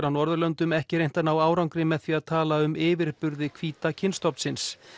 á Norðurlöndum ekki reynt að ná árangri með því að tala um yfirburði hvíta kynstofnsins